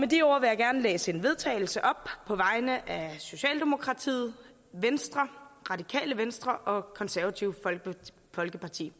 de ord vil jeg gerne læse et vedtagelse op på vegne af socialdemokratiet venstre radikale venstre og det konservative folkeparti